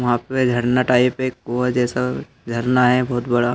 यहां पे झरना टाइप एक कुआं जैसा झरना हैं बहोत बड़ा।